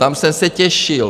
Tam jsem se těšil -